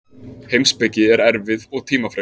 Heimspeki er erfið og tímafrek.